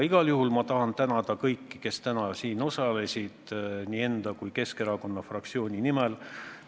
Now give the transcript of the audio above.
Igal juhul tahan ma tänada kõiki, kes täna siin osalesid, nii enda kui ka Keskerakonna fraktsiooni nimel.